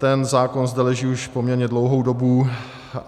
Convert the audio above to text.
Ten zákon zde leží už poměrně dlouhou dobu.